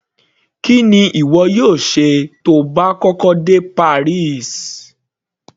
Kí ni ìwọ yóò ṣe tí o bá kọ́kọ́ dé Paris.